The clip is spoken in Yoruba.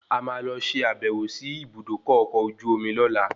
A máa lọ ṣe àbẹ̀wò sí Ibùdókọ̀ ọkọ̀ ojú omi lóla